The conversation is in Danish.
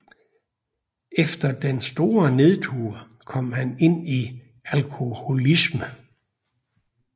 Efter den store nedtur kom han ind i alkoholisme